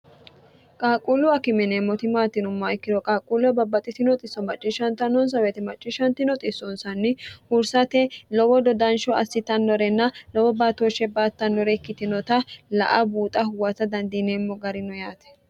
qaaqquullu akime yineemmoti maati yinummoha ikkiro qaaqquullu babbaxino xisso macciishshantannonsa wote hursate lowo dodansho assitannorenna lowo baatooshshe baattannore ikkitinota la a buuxa huwata dandiineemmo garino yaate